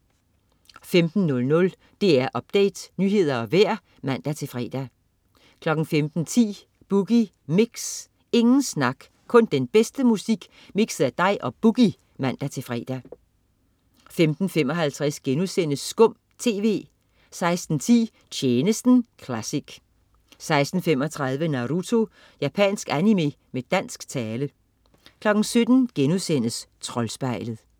15.00 DR Update. Nyheder og vejr (man-fre) 15.10 Boogie Mix. Ingen snak, kun den bedste musik mikset af dig og "Boogie" (man-fre) 15.55 Skum TV* 16.10 Tjenesten classic 16.35 Naruto. Japansk animé med dansk tale 17.00 Troldspejlet*